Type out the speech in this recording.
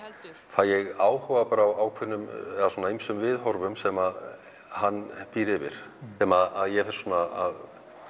fæ ég áhuga á ýmsum viðhorfum sem hann býr yfir sem að ég fer svona að